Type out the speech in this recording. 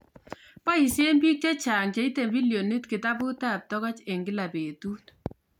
Boisen biik chechang cheitei billionit facebook eng kila betuu